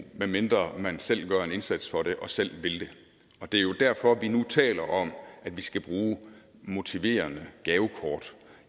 medmindre man selv gør en indsats for det og selv vil det det er jo derfor vi nu taler om at vi skal bruge motiverende gavekort